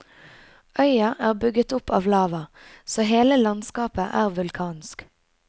Øya er bygget opp av lava, så hele landskapet er vulkansk.